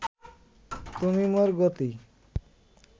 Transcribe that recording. তুমি মোর গতি